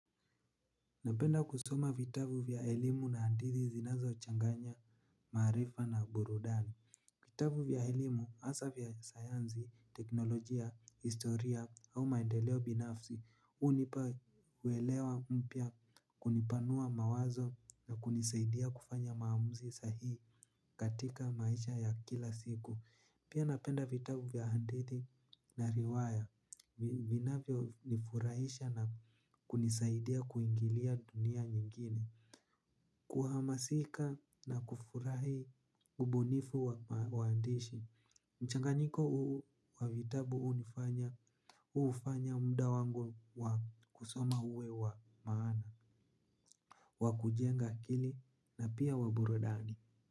Napenda kusoma vitabu vya elimu na hadithi zinazochanganya maarifa na burudani. Vitabu vya elimu hasaa vya sayansi, teknolojia, historia au maendeleo binafsi, hunipa uelewa mpya, kunipanua mawazo na kunisaidia kufanya maamuzi sahihi katika maisha ya kila siku. Pia napenda vitabu vya hadithi na riwaya, vinavyonifurahisha na kunisaidia kuingilia dunia nyingine. Kuhamasika na kufurahi bonifu wa uandishi. Mchanganyiko huu wa vitabu hunifanya, hu-ufanya muda wangu wa kusoma uwe wa maana, wa kujenga akili na pia wa burudani.